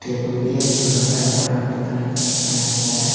Table भी है एक चूलर है और लकड़ी की मदद से बनाया गया है।